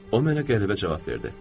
O mənə qəribə cavab verdi.